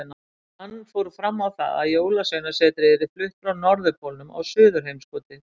Hann fór fram á það að Jólasveinasetrið yrði flutt frá Norðurpólnum á Suðurheimskautið.